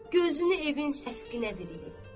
Gözünü evin səqfinə diləyib.